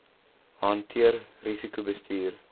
hanteer risiko bestuur